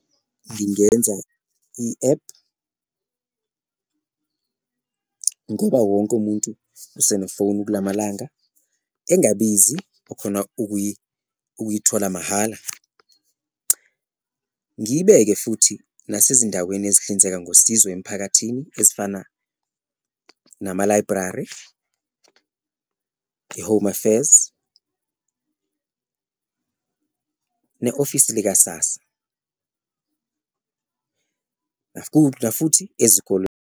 Ngingenza i-ephu ngoba wonke umuntu usenefoni kulamalanga engabizi okhona ukuyithola mahhala, ngiyibeke futhi nasezindaweni ezihlinzeka ngosizo emphakathini ezifana nama-library, i-Home Affairs, ne-ofisi lika-SASSA, nafuthi ezikoleni.